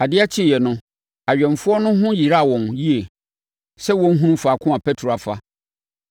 Adeɛ kyeeɛ no, awɛmfoɔ no ho yeraa wɔn yie sɛ wɔnhunu faako a Petro afa.